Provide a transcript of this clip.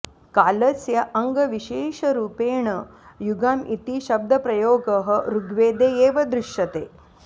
कालस्य अङ्गविशेषरूपेण युगम् इति शब्दप्रयोगः ऋग्वेदे एव दृश्यते